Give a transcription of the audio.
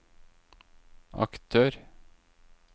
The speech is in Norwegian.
aktør